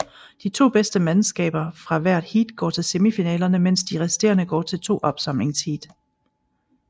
De to bedste mandskaber fra hvert heat går til semifinalerne mens de resterende går til to opsamlingsheat